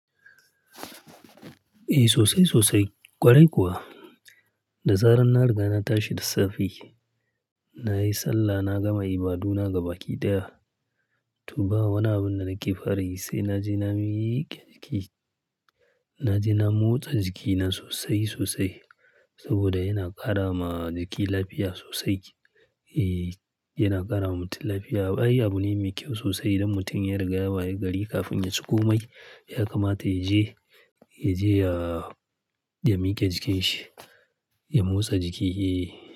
Eh sosai, sosai. Kwarai kuwa, da zaran na riga na tashi da safe, nayi sallah na gama ibaduna gabaki ɗaya. To ba wani abun da nake fare sai na je na mike jiki. Na je na motsa jikina sosai, sosai saboda yana ƙara ma jiki lafiya sosai. Eh yana ƙarama mutum lafiya. Ai abune mai kyau sosai idan mutum ya riga ya wayi gari kafin ya ci komai, ya kamata ya je, ya je ya, ya miye jikin shi, ya motsa jiki. Eh.